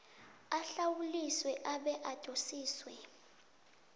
ahlawuliswe abe adosiswe